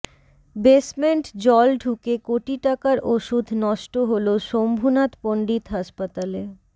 basement জল ঢুকে কোটি টাকার ওষুধ নষ্ট হল শম্ভুনাথ পণ্ডিত হাসপাতালে